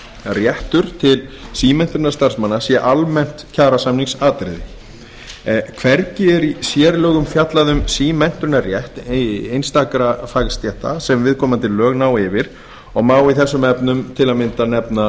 réttur til símenntunar starfsmanna sé almennt kjarasamningsatriði hvergi er í sérlögum fjallað um símenntunarrétt einstakra fagstétta sem viðkomandi lög ná yfir og má í þessum efnum til að mynda nefna